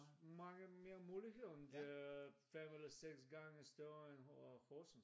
Mange mere muligeheder og det er 5 eller 6 gange større end Horsens